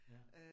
Ja